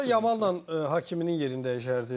Burda Yamalnan Hakimin yerin dəyişərdim.